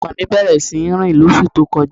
Ọmọ mi bẹ̀rẹ̀ sí rìn lọ́sú tó kọ́ja.